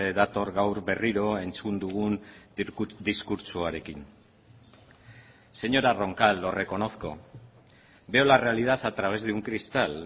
dator gaur berriro entzun dugun diskurtsoarekin señora roncal lo reconozco veo la realidad a través de un cristal